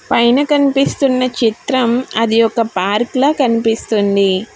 పైన కనిపిస్తున్న చిత్రం అది ఒక పార్కుల కనిపిస్తుంది.